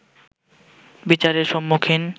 বিচারের সম্মুখীন